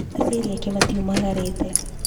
Aciari ake matiomagarĩte.